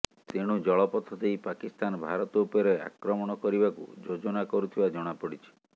ତେଣୁ ଜଳପଥ ଦେଇ ପାକିସ୍ତାନ ଭାରତ ଉପରେ ଆକ୍ରମଣ କରିବାକୁ ଯୋଜନା କରୁଥିବା ଜଣାପଡିଛି